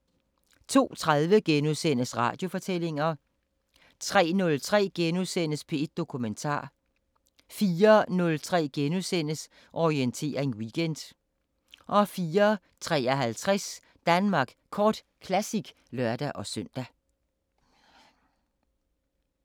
* 02:30: Radiofortællinger * 03:03: P1 Dokumentar * 04:03: Orientering Weekend * 04:53: Danmark Kort Classic (lør-søn)